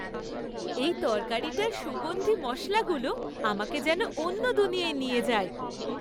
এই তরকারিটার সুগন্ধী মশলাগুলো আমাকে যেন অন্য দুনিয়ায় নিয়ে যায়।